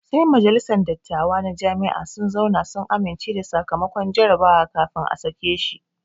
Sai majalisan dattawa na Jami'a sun zauna sun amince da sakamakon jarabawa kafin a sake shi